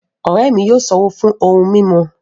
Ọ̀rẹ́ mi yóò ṣán owó fún ohun mimú